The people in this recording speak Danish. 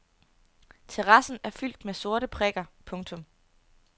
Terrassen er fyldt med sorte prikker. punktum